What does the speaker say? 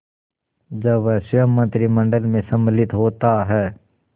जब वह स्वयं मंत्रिमंडल में सम्मिलित होता है